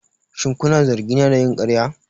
Shin kuna zargina da yin ƙarya?